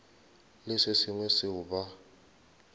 le se sengwe seo ba